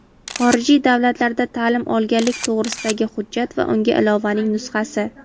xorijiy davlatlarda ta’lim olganlik to‘g‘risidagi hujjat va unga ilovaning nusxasi;.